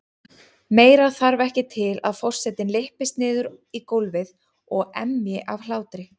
Meira þarf ekki til að forsetinn lyppist niður í gólfið og emji af hlátri.